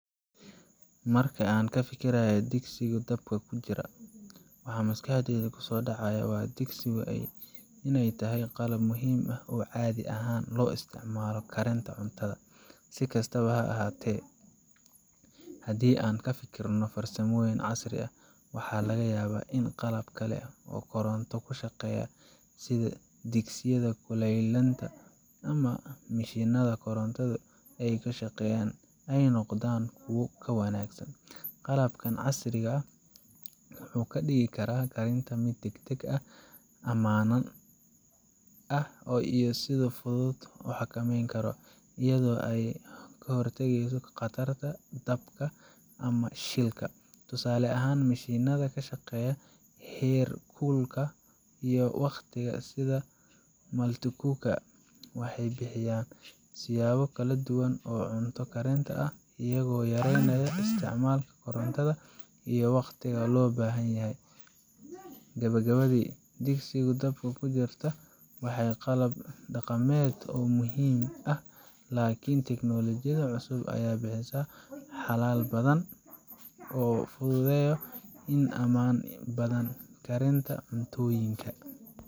Marka aan ka fikirayo digsiga dabka ku jira, waxa maskaxdayda ku soo dhacaya in digsiga ay tahay qalab muhiim ah oo caadi ahaan loo isticmaalo karinta cuntada. Si kastaba ha ahaatee, haddii aan ka fikirno farsamooyin casri ah, waxaa laga yaabaa in qalab kale oo koronto ku shaqeeya, sida digsiyada kululaynta ama mishiinada korontada ku shaqeeya, ay noqdaan kuwo ka wanaagsan. Qalabkan casriga ah wuxuu ka dhigi karaa karinta mid degdeg ah, ammaan ah, iyo si fudud loo xakameyn karo, iyadoo ay ka hortageyso khatarta dabka ama shilka. Tusaale ahaan, mishiinada ku shaqeeya heerkulka iyo waqtiga, sida multicookers, waxay bixiyaan siyaabo kala duwan oo cunto karinta ah, iyagoo yareynaya isticmaalka korontada iyo waqtiga loo baahan yahay. Gabagabadii, sufuria dabka ku jirta waa qalab dhaqameed oo muhiim ah, laakiin teknoolojiyada cusub ayaa bixisa xalal badan oo fududeyo iyo ammaan badan karinta cuntooyinka.